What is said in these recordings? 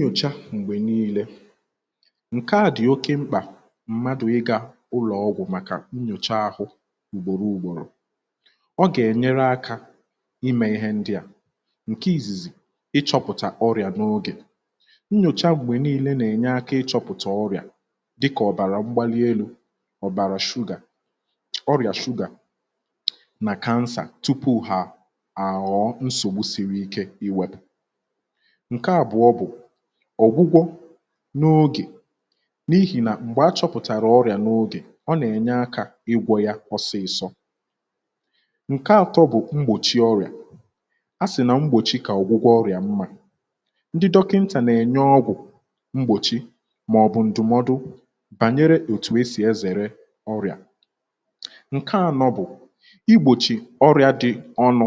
nyòcha m̀gbè nii̇lė um ǹke àdị̀ oke mkpà m̀madụ̀ ịgȧ ụlọ̀ ọgwụ̀ màkà nnyòcha ahụ̇ ùgbòro ùgbòrò ọ gà-ènyere akȧ imė ihe ndị à ǹke ìzìzì um ịchọ̇pụ̀tà ọrị̀à n’ogè nnyòcha m̀gbè nii̇lė nà-ènye akȧ ịchọ̇pụ̀tà ọrị̀à dịkà ọ̀bàrà m̀gbalielu̇ ọ̀bàrà shugà ọrị̀à shugà um nà kansà tupu ha àghọ̀ nsògbu siri ike um iwėpù ǹke àbụọ bụ̀ ọ̀gwụgwọ n’ogè n’ihi nà m̀gbè achọpụ̀tàrà ọrị̀à n’ogè ọ nà-ènye akȧ igwọ̇ ya ọsịsọ ǹke atọ bụ̀ mgbòchi ọrị̀à a sì na mgbòchi kà ọ̀gwụgwọ ọrị̀à mmȧ ndị dọkịntà nà-ènye ọgwụ̀ mgbòchi màọ̀bụ̀ ǹdụ̀mọdụ bànyere òtù e sì ezère ọrị̀à ǹke anọ bụ̀ igbòchi ọrị̀à dị ọnụ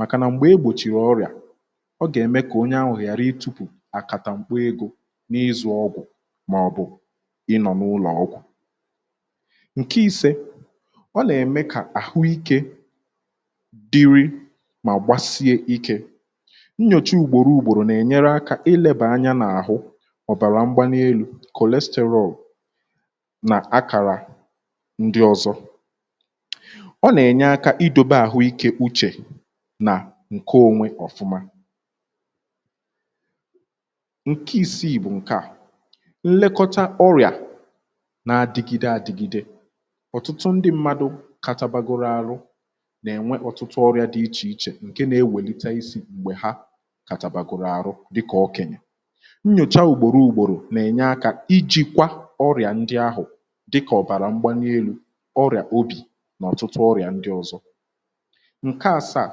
màkànà m̀gbè egbòchìrì ọrị̀à ọ gà-ème kà onye anwụ̀ghàrị itupù àkàtà m̀kpa egȯ n’ịzụ̇ ọgwụ̀ màọ̀bụ̀ ịnọ̀ n’ụlọ̀ ọgwụ̀ ǹke isė ọ nà-ème kà àhụikė dịrị um mà gbasie ikė nnyòchi ùgbòro ùgbòrò nà-ènyere akȧ ilėbà anya n’àhụ ọ̀bàrà mgbanị elu̇ kòlisterol nà akàrà ndị ọ̇zọ ǹke onwe ọ̀fụma ǹke ìsiì bụ̀ ǹke à nlekọta ọrịà na-adịgide àdịgide ọ̀tụtụ ndị mmadụ̇ katabagoro arụ nà-ènwe ọtụtụ ọrịà dị ichè ichè ǹke nȧ-enwèlite isiì m̀gbè ha katabagoro arụ dịkà ọkẹ̀nyẹ̀ nyòcha ùgbòro ùgbòrò nà-ènye akȧ ijìkwà ọrịà ndị ahụ̀ dịkà ọ̀bàrà mgbanielu ọrịà obì nà ọ̀tụtụ ọrịà ndị ọ̀zọ ǹke àsaà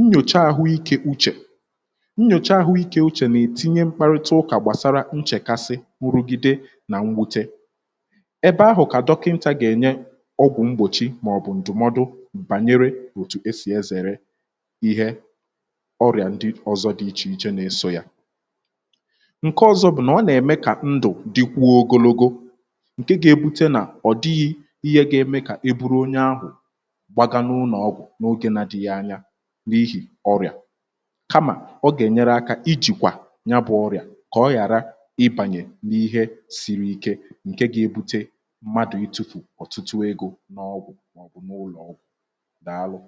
nnyòcha àhụikė uchè nnyòcha àhụikė uchè nà-ètinye um mkparịta ụkà gbàsara nchèkasị nrụgide nà mwute ebe ahụ̀ kà dọkịnta gà-ènye um ọgwụ̀ mgbòchi màọbụ̀ ǹdụ̀mọdụ m̀bànyere òtù esì ezère ihe ọrịà ndị ọzọ̇ dị ichè ichè um na-eso yȧ ǹke ọzọ̇ bụ̀nà ọ nà-ème kà ndụ̀ dịkwuo ogologo um ǹke ga-ebute nà ọ̀ dịghị ihe ga-eme kà eburu onye ahụ̀ n’ihì ọrịà kamà ọ gà-ènyere akȧ ijìkwà ya bụ̇ ọrịà kà ọ ghàra ịbànyè n’ihe sìrì ike ǹke gȧ-ėbute mmadụ̀ itufù ọ̀tụtụ ego n’ọgwụ̀ màọ̀bụ̀ n’ụlọ̀ ọgwụ̀ dàalụ̀